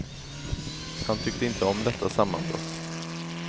Han tyckte inte om detta sammanbrott.